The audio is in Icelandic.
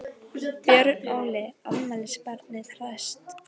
Björn Óli, afmælisbarnið hresst?